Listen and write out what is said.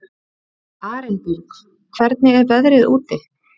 Arinbjörg, hvernig er veðrið úti?